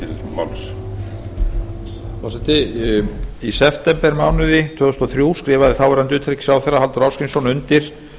herra forseti í septembermánuði tvö þúsund og þrjú skrifaði þáverandi utanríkisráðherra halldór ásgrímsson undir